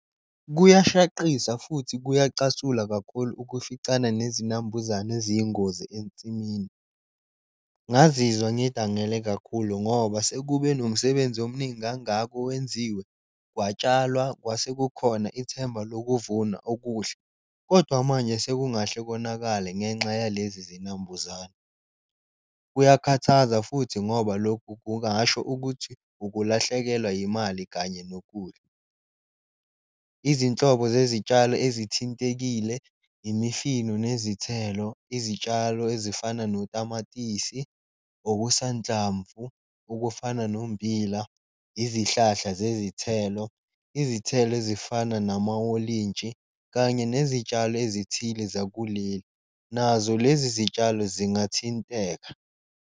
Kuyashaqisa futhi kuyacasula kakhulu ukuficana nezinambuzane eziyingozi ensimini, ngazizwa ngidangele kakhulu ngoba sekube nomsebenzi omningi kangaka owenziwe. Kwakutshalwa kwase kukhona ithemba lokuvuna okuhle kodwa manje sekungahle konakale ngenxa yalezi zinambuzane, kuyakhathaza futhi ngoba lokhu kungasho ukuthi ukulahlekelwa yimali kanye nokudla. Izinhlobo zezitshalo ezithintekile, imifino nezithelo, izitshalo ezifana notamatisi, okusanhlamvu okufana nommbila, izihlahla zezithelo, izithelo ezifana nama wolintshi kanye nezitshalo ezithile zakuleli, nazo lezi zitshalo zingathinteka.